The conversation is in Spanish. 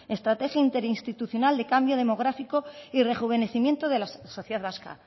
estrategia interinstitucional de cambio demográfico y rejuvenecimiento de la sociedad vasca